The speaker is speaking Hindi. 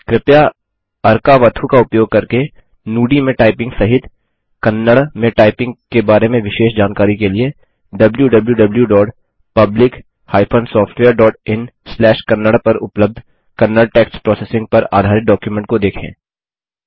कृपया अर्कावथु का उपयोग करके नुदी में टाइपिंग सहित कन्नड़ में टाइपिंग के बारे में विशेष जानकारी के लिए wwwPublic SoftwareinKannada पर उपलब्ध कन्नड़ टेक्स्ट प्रोसेसिंग पर आधारित डॉक्युमेंट को देखें